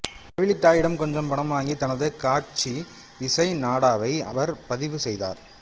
செவிலித்தாயிடம் கொஞ்சம் பணம் வாங்கி தனது காட்சி இசை நாடாவை அவர் பதிவு செய்தார்